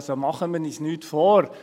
Also: Machen wir uns nichts vor.